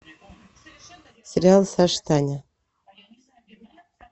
сериал саша таня